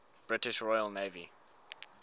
british royal navy